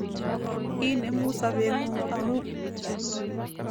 Inemu sobetngung amu